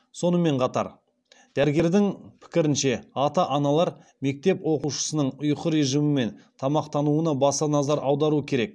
сонымен қатар дәрігердің пікірінше ата аналар мектеп оқушысының ұйқы режимі мен тамақтануына баса назар аудару керек